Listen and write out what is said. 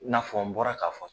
I n'a fɔ n bɔra k'a fɔ